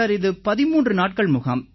sir இது 13 நாட்கள் முகாம்